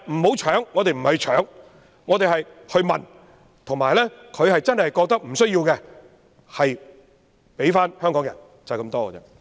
但是，我們不是搶，而是問，如果中央政府真的覺得不需要有關土地，便交回香港人，就是這樣。